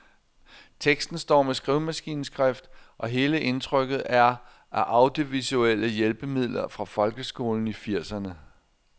Teksten står med skrivemaskineskrift, og hele indtrykket er af audiovisuelle hjælpemidler fra folkeskolen i firserne.